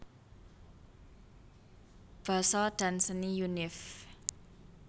Basa dan Seni Univ